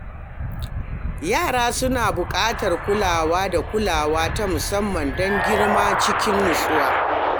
Yara suna buƙatar kulawa da kulawa ta musamman don girma cikin nutsuwa.